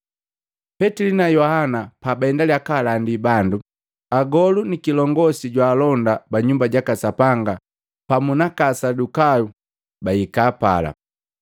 Petili na Yohana pabaendaliya kaalandi bandu, agolu ni kilongosi jwaalonda ba Nyumba jaka Sapanga pamu naka Asadukayu babahika pala.